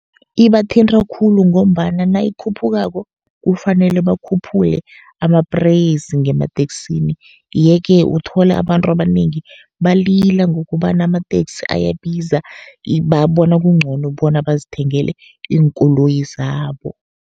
Ibathinta khulu ngombana nayikhuphukako, kufanele bakhuphule ama-price ngemateksini. Ye-ke uthole abantu abanengi balila ngokobana amateksi ayabiza, babona kuncono bona bazithengele iinkoloyi zabo.